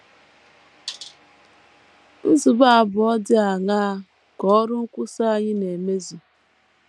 Nzube abụọ dị aṅaa ka ọrụ nkwusa anyị na - emezu?